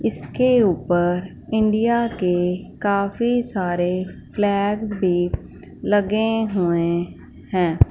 इसके ऊपर इंडिया के काफी सारे फ़्लैग्स भी लगे हुए हैं।